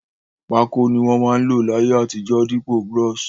Pákò ni won ma n lò láyé àtijó dípò brush